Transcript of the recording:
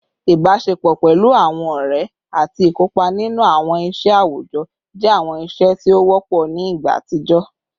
Ibaṣepọ pẹlu awọn ọrẹ ati ikopa ninu awọn iṣẹ awujọ jẹ awọn iṣe ti o wọpọ ni igba atijọ